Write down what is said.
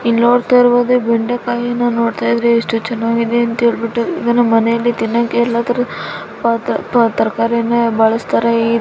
ಇಲ್ಲಿ ನೋಡ್ತಾ ಇರಬಹುದು ಬೆಂಡೆಕಾಯಿ ನೋಡ್ತಾ ಇದ್ರೆ ಎಷ್ಟು ಚೆನ್ನಾಗಿದೆ ಅಂತ ಹೇಳ್ಬಿಟ್ಟು ಇದನ್ನ ಮನೆಯಲ್ಲಿ ತಿನ್ನಕ್ಕೆ ತರಕಾರಿನ ಬಳಸ್ತಾರೆ.